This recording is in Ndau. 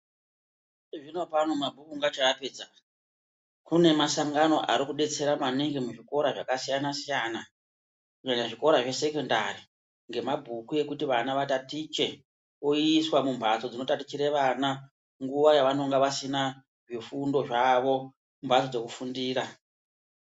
Izvezvi vanopa antu mabhuku ungachaapedza ,kune masangano arikudetsera maningi muzvikora zvakasiyana siyana kunyanya zvikora zvesekendari ngemabhuku ekuti vana vatatiche oiswa mumbatso dzinotatichire vana nguva yavanonga vasina zvifundo zvavo mumbatso dzekufundira.